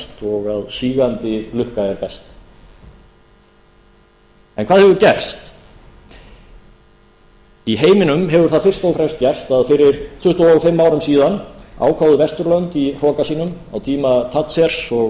og að sígandi lukka er best hvað hefur gerst í heiminum hefur það fyrst og fremst gerst að fyrir tuttugu og fimm árum síðan ákváðu vesturlönd í hroka sínum á tíma thatcher og reagans að við